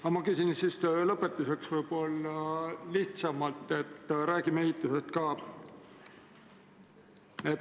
Aga ma küsin lõpetuseks võib-olla midagi lihtsamat – räägime ka ehitusest.